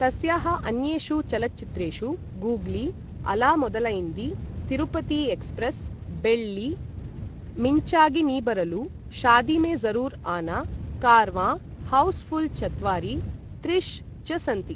तस्याः अन्येषु चलच्चित्रेषु गूग्ली, अला मोदलायिन्दि, तिरुपति एक्स्प्रेस्, बेळ्ळि, मिन्चागि नी बरलु, शादी में ज़रुर् आना, कारवाँ, हौस् फुल् चत्वारि, त्रिश् च सन्ति।